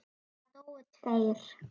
Það dóu tveir.